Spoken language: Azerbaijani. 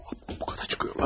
Bu qədər çıxırlar.